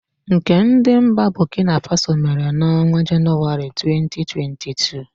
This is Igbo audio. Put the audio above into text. Nke ndi mba Bokina Faso mere n'ọnwa Januari, 2022.